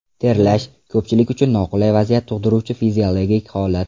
Terlash – ko‘pchilik uchun noqulay vaziyat tug‘diruvchi fiziologik holat.